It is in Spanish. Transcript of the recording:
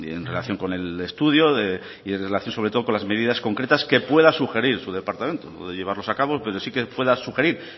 en relación con el estudio y en relación sobre todo con las medidas concretas que pueda sugerir su departamento puede llevarlos a cabo pero sí que pueda sugerir